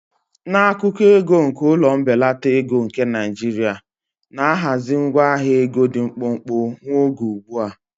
N'akụkọ ego nke ụlọ mbelata ego nke Naijiria, na ahazi ngwa ahịa ego dị mkpụmkpụ nwa oge ugbu a.